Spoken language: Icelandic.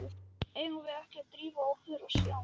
Eigum við ekki að drífa okkur og sjá.